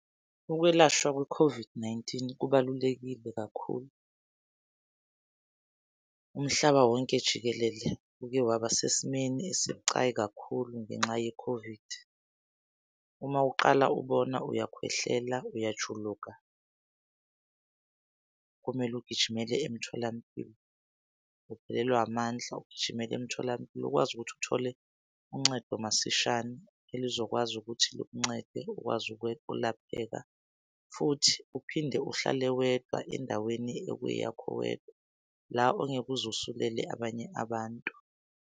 Ukwelashwa kwe-COVID-19 kubalulekile kakhulu. Umhlaba wonke jikelele uke waba sesimeni esibucayi kakhulu ngenxa ye-COVID. Uma uqala ubona uyakhwehlela uyajuluka, kumele ugijimele emtholampilo. Uphelelwa amandla, ugijimela emtholampilo ukwazi ukuthi uthole uncedo masishane elizokwazi ukuthi lukuncede ukwazi ukulapheka. Futhi uphinde uhlale wedwa endaweni ekuye yakho wedwa la ongeke uze usulele abanye abantu.